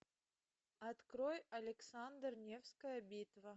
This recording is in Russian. открой александр невская битва